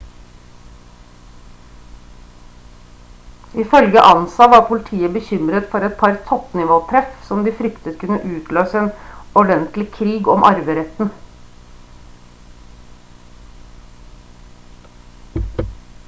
ifølge ansa «var politiet bekymret for et par toppnivåtreff som de fryktet kunne utløse en ordentlig krig om arveretten